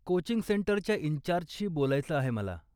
Coaching सेंटरच्या इन्चार्जशी बोलायचं आहे मला.